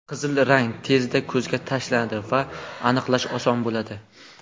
Qizil rang tezda ko‘zga tashlanadi va aniqlash oson bo‘ladi.